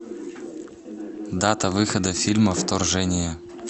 дата выхода фильма вторжение